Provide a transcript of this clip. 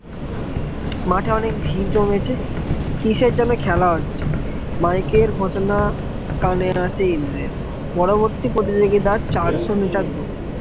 মাঠে অনেক ভিড় জমেছে কিসের জন্য খেলা হচ্ছে মাইকে ঘোষণা কানের আছে ইন্দ্রের পরবর্তী প্রতিযোগিতার চারশ meter দৌড়